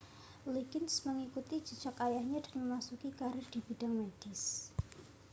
liggins mengikuti jejak ayahnya dan memasuki karier di bidang medis